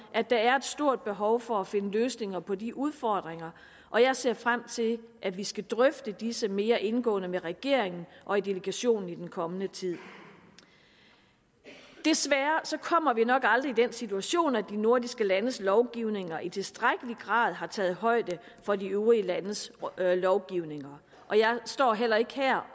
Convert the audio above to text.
at der er et stort behov for at finde løsninger på de udfordringer og jeg ser frem til at vi skal drøfte disse mere indgående med regeringen og i delegationen i den kommende tid desværre kommer vi nok aldrig i den situation at de nordiske landes lovgivninger i tilstrækkelig grad har taget højde for de øvrige landes lovgivninger og jeg står heller ikke her